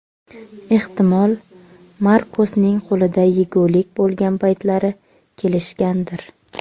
Ehtimol, Markosning qo‘lida yegulik bo‘lgan paytlari kelishgandir.